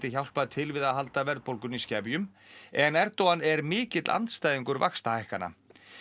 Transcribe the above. hjálpað til við að halda verðbólgunni í skefjum en Erdogan er mikill andstæðingur vaxtahækkana